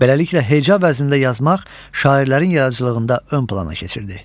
Beləliklə heca vəznində yazmaq şairlərin yaradıcılığında ön plana keçirdi.